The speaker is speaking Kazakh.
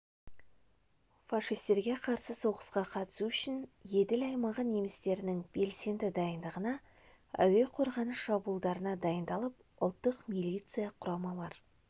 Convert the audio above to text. фашистерге қарсы соғысқа қатысу үшін еділ аймағы немістерінің белсенді дайындығына әуе қорғаныс шабуылдарына дайындалып ұлттық милиция құрамалар